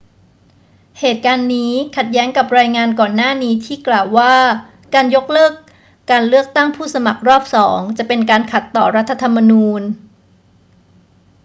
เหตุการณ์นี้ขัดแย้งกับรายงานก่อนหน้านี้ที่กล่าวว่าการยกเลิกการเลือกตั้งผู้สมัครรอบสองจะเป็นการขัดต่อรัฐธรรมนูญ